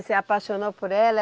Você apaixonou por ela?